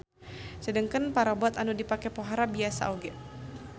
Sedengkeun parabot anu dipake pohara biasa oge.